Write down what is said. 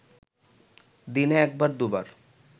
দিনে এক বার দু’বার